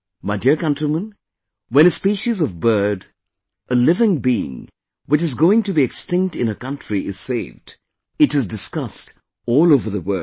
My dear countrymen, when a species of bird, a living being which is going extinct in a country is saved, it is discussed all over the world